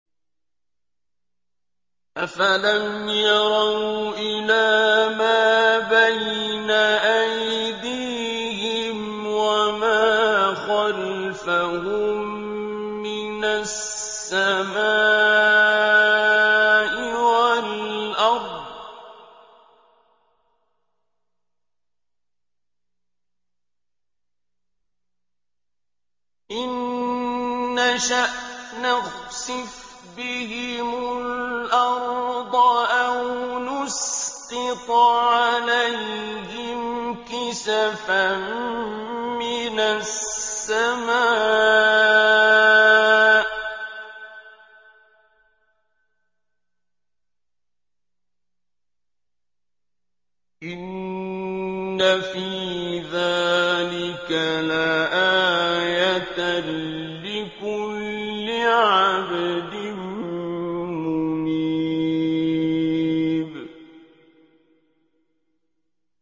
أَفَلَمْ يَرَوْا إِلَىٰ مَا بَيْنَ أَيْدِيهِمْ وَمَا خَلْفَهُم مِّنَ السَّمَاءِ وَالْأَرْضِ ۚ إِن نَّشَأْ نَخْسِفْ بِهِمُ الْأَرْضَ أَوْ نُسْقِطْ عَلَيْهِمْ كِسَفًا مِّنَ السَّمَاءِ ۚ إِنَّ فِي ذَٰلِكَ لَآيَةً لِّكُلِّ عَبْدٍ مُّنِيبٍ